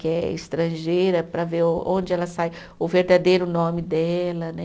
Que é estrangeira, para ver o onde ela sai, o verdadeiro nome dela, né?